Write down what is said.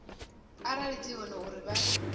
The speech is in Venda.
arali dzi hone uri vha